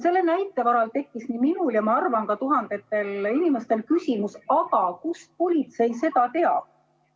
Selle näite peale tekkis nii minul ja ma arvan, et ka tuhandetel teistel inimestel küsimus, aga kust politsei seda teab.